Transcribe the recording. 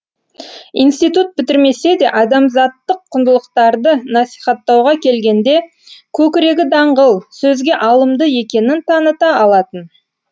иниститут бітірмесе де адамзаттық құндылықтарды насихаттауға келгенде көкірегі даңғыл сөзге алымды екенін таныта алатын